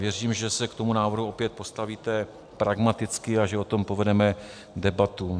Věřím, že se k tomu návrhu opět postavíte pragmaticky a že o tom povedeme debatu.